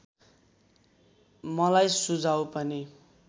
मलाई सुझाउ पनि